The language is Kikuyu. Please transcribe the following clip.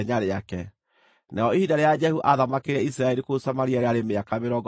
Narĩo ihinda rĩrĩa Jehu aathamakĩire Isiraeli kũu Samaria rĩarĩ mĩaka mĩrongo ĩĩrĩ na ĩnana.